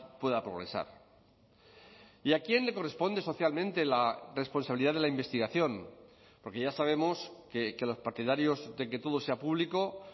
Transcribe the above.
pueda progresar y a quién le corresponde socialmente la responsabilidad de la investigación porque ya sabemos que los partidarios de que todo sea público